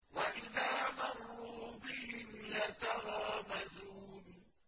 وَإِذَا مَرُّوا بِهِمْ يَتَغَامَزُونَ